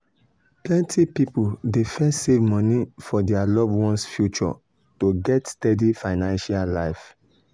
plenty people dey first save money for dir loved ones' future to get steady financial life.